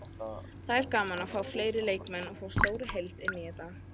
Það er gaman að fá fleiri leikmenn og fá stóra heild inn í þetta.